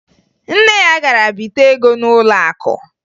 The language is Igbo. Nne ya gara bite ego n'ụlọakụ